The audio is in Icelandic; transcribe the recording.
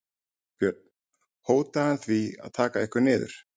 Björn: Hótaði hann því að taka ykkur niður?